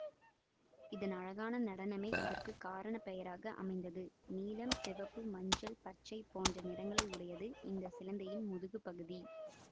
இதன் அழகான நடனமே இதற்கு காரண பெயராக அமைந்தது நீலம் சிவப்பு மஞ்சள் பச்சை போன்ற நிறங்களை உடையது இந்த சிலந்தியின் முதுகுப் பகுதி